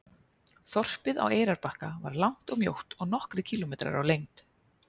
Þorpið á Eyrarbakka er langt og mjótt og nokkrir kílómetrar á lengd.